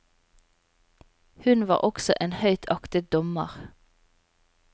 Hun var også en høyt aktet dommer.